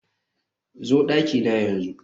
zo dakina yanzu